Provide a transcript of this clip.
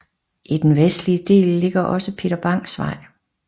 I den vestlige del ligger også Peter Bangs Vej